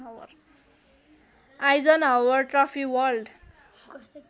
Eisenhower trophy world